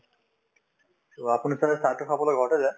to আপুনি ছাগে চাহটো খাবলৈ ঘৰতে